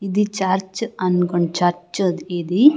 ఇది చర్చ్ అనుకున్న్ చర్చ్ ఇది.